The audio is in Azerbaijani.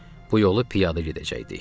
Bu yolu piyada gedəcəkdik.